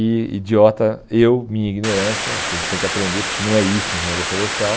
E idiota eu, minha ignorância, acho que a gente tem que aprender, porque não é isso engenharia florestal.